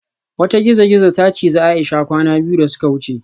Wata gizo-gizo ta cije Aisha kwana biyu da suka wuce